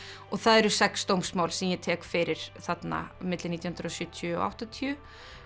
það eru sex dómsmál sem ég tek fyrir þarna milli nítján hundruð og sjötíu og áttatíu